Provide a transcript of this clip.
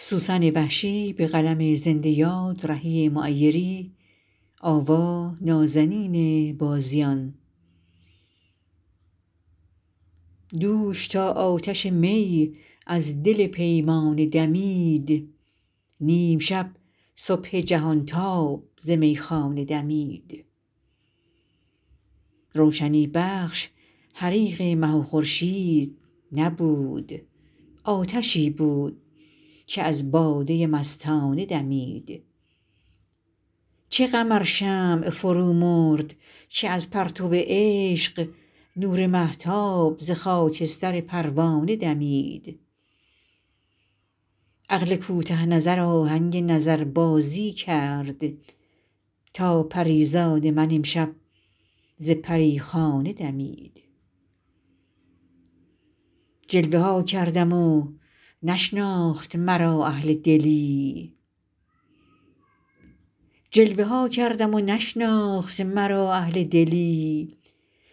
دوش تا آتش می از دل پیمانه دمید نیم شب صبح جهان تاب ز میخانه دمید روشنی بخش حریق مه و خورشید نبود آتشی بود که از باده مستانه دمید چه غم ار شمع فرومرد که از پرتو عشق نور مهتاب ز خاکستر پروانه دمید عقل کوته نظر آهنگ نظربازی کرد تا پریزاد من امشب ز پریخانه دمید جلوه ها کردم و نشناخت مرا اهل دلی